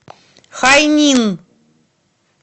хайнин